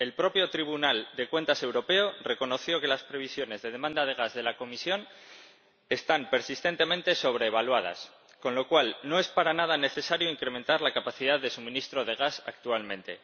El propio Tribunal de Cuentas Europeo reconoció que las previsiones de demanda de gas de la Comisión están persistentemente sobreestimadas, con lo cual no es para nada necesario incrementar la capacidad de suministro de gas actualmente.